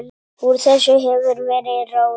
Úr þessu hefur verið ráðið